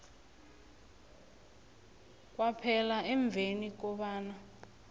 kwaphela emveni kobana